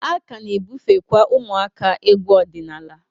A ka na-ebufekwa ụmụaka egwu ọdịnala.